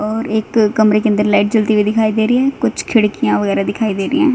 और एक कमरे के अंदर लाइट जलती हुई दिखाई दे रही है कुछ खिड़कियां वगैरह दिखाई दे रही हैं।